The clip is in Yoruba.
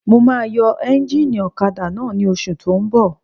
Mo máa yọ éúnjínì ọ̀kadà náà ní oṣù tó n bọ̀